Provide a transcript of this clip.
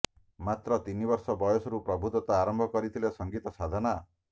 ମାତ୍ର ତିନି ବର୍ଷ ବୟସରୁ ପ୍ରଭୁଦତ୍ତ ଆରମ୍ଭ କରିଥିଲେ ସଙ୍ଗୀତ ସାଧନା